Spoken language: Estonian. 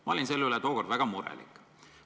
Ma olin selle üle juba tookord väga murelik.